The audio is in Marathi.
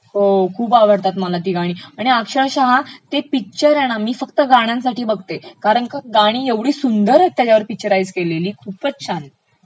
हो खूप आवडतात मला ती गाणी आणि अक्षरशः ते पिक्चर हे ना मी फ्कत गाण्यांसाठी बघते कारण का गाणी ऐवढी सुंदर पिक्चराइज केलेली आहेत त्याच्यावर खूपचं छान